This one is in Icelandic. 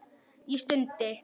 Ég stundi.